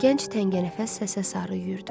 Gənc təngənəfəs səsə sarı yüyürdü.